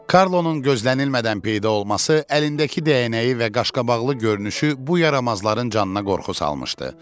Karlosunun gözlənilmədən peyda olması, əlindəki dəyənəyi və qaşqabaqlı görünüşü bu yaramazların canına qorxu salmışdı.